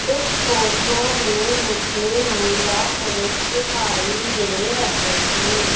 इस फोटो में मुझे महिला पुरुष दिखाई दे रहे हैं।